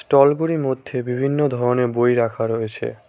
টলগুলির মধ্যে বিভিন্ন ধরনের বই রাখা রয়েছে।